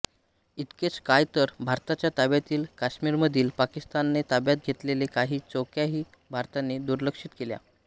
इतकेच काय तर भारताच्या ताब्यातील काश्मीरमधील पाकिस्तानने ताब्यात घेतलेल्या काही चौक्याही भारताने दुर्लक्षित केल्या